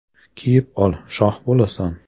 “Kiyib ol, shoh bo‘lasan”.